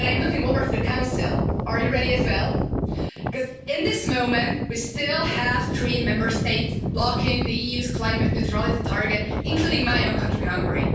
But I'm looking over to the Council. Are you ready as well? Because at the moment we still have three Member States blocking the EU's climate neutrality target, including my own country, Hungary.